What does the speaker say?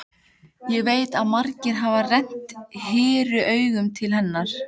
Hann veit að margir hafa rennt hýru auga til hennar.